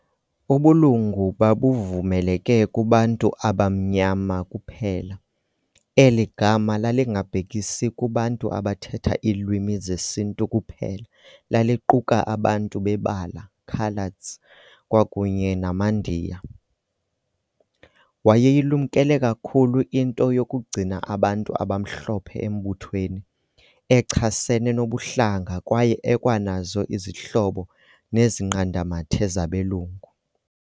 Ubulungu babuvumeleke kubantu "abamnyama" kuphela, eligama lalingabhekisi kubantu abathetha iiliwimi zesintu kuphela laliquka abantu bebala, Coloureds, kwakunye namaNdiya. Wayeyilumkele kakhulu into yokugcina abantu abamhlophe embuthweni, echasene nobuhlanga kwaye ekwanazo izihlobo nezinqanda-mathe zabelungu.